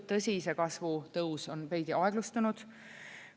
Tõsi, see kasvu tõus on veidi aeglustunud.